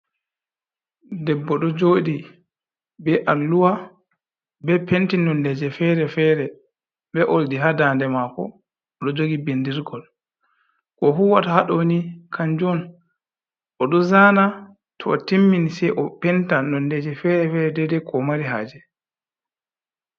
Debbo ɗo jodi be alluwa be penti nonde je fere fere be oldi ha dande mako, o ɗo jogi bindirgol, ko huwata haɗɗoni kanjun o ɗo zana to o timmini sei o penta nonde je fere fere dede ko omari haje.